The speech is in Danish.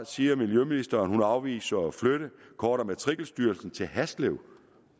siger miljøministeren at hun afviser at flytte kort og matrikelstyrelsen til haslev